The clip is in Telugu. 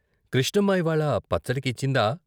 కృష్ణమ్మ ఇవ్వాళ పచ్చడి కిచ్చిందా?